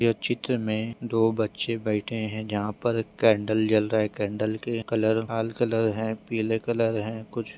यह चित्र में दो बच्चे बैठे हैं। जहाँ पर कैंडल जल रहे है। कैंडल के कलर लाल कलर हैं पिले कलर हैं। कुछ--